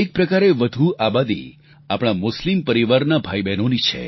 એક પ્રકારે વધુ આબાદી આપણા મુસ્લિમ પરિવારના ભાઈબહેનોની છે